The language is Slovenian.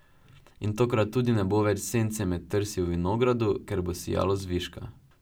In takrat tudi ne bo več sence med trsi v vinogradu, ker bo sijalo zviška.